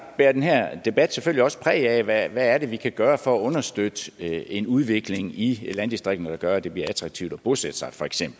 bærer den her debat selvfølgelig også præg af hvad er det feks vi kan gøre for at understøtte en udvikling i landdistrikterne der gør at det bliver attraktivt at bosætte sig